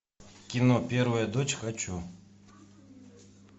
кино первая дочь хочу